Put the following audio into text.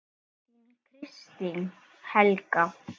Þín, Kristín Helga.